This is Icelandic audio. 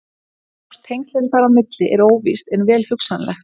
Hvort tengsl eru þar á milli er óvíst en vel hugsanlegt.